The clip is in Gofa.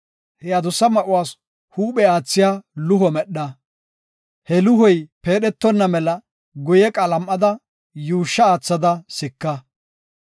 He adusse ma7uwas huuphe aathiya luho medha. He luhoy peedhetonna mela guye qalam7ada yuushsha aathada sika.